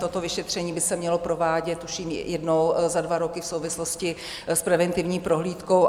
Toto vyšetření by se mělo provádět, tuším, jednou za dva roky v souvislosti s preventivní prohlídkou.